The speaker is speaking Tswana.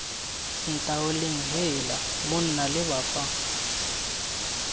ntaoleng heela monna leba fa